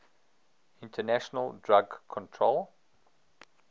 international drug control